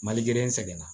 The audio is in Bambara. Mali in sɛgɛnna